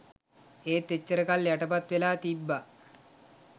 ඒත් එච්චර කල් යටපත් වෙලා තිබ්බ